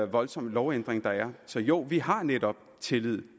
voldsomme lovændring der er så jo vi har netop tillid